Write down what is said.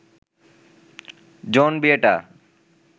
জন বিয়েটা